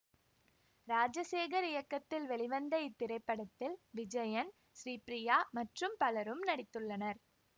ராஜசேகர் இயக்கத்தில் வெளிவந்த இத்திரைப்படத்தில் விஜயன் ஸ்ரீபிரியா மற்றும் பலரும் நடித்துள்ளனர்